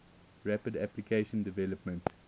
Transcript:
rapid application development